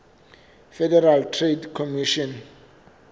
federal trade commission